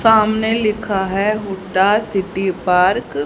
सामने लिखा है हुड्डा सिटी पार्क --